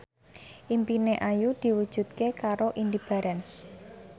impine Ayu diwujudke karo Indy Barens